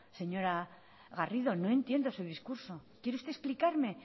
señora garrido no entiendo su discurso quiere usted explicarme